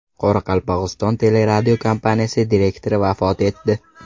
Qoraqalpog‘iston teleradiokompaniyasi direktori vafot etdi.